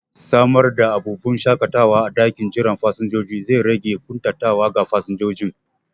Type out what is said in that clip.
Samar da abubun shaƙatawa a ɗakin jiran fasinjoji zai rage ƙuntatawa ga fasinjojin